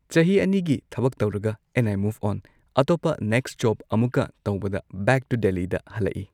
ꯆꯍꯤ ꯑꯅꯤꯒꯤ ꯊꯕꯛ ꯇꯧꯔꯒ ꯑꯦꯟ ꯑꯥꯏ ꯃꯨꯐ ꯑꯣꯟ ꯑꯇꯣꯞꯄ ꯅꯦꯛꯁ ꯖꯣꯕ ꯑꯃꯨꯛꯀ ꯇꯧꯕꯗ ꯕꯦꯛ ꯇꯨ ꯗꯦꯜꯂꯤꯗ ꯍꯜꯂꯛꯏ